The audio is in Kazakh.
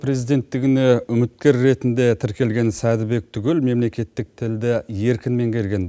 президенттігіне үміткер ретінде тіркелген сәдібек түгел мемлекеттік тілді еркін меңгерген